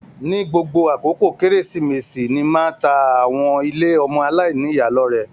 Ni gbogbo àkókò kérésìmesì ni máa tá àwọn ilé ọmọ aláìníya lọrẹ.